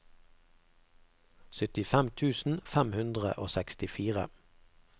syttifem tusen fem hundre og sekstifire